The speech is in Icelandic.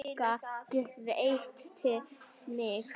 Magga gretti sig.